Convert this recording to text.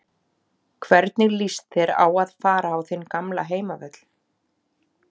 Hvernig lýst þér á að fara á þinn gamla heimavöll?